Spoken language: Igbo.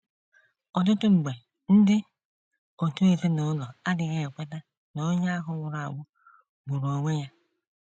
Ọtụtụ mgbe, ndị òtù ezinụlọ adịghị ekweta na onye ahụ nwụrụ anwụ gburu onwe ya.